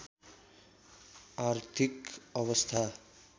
आर्थिक अवस्था